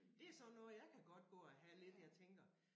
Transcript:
Det sådan noget jeg kan godt gå og have lidt jeg tænker